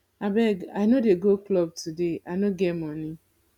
abeg i no dey go club today i no get money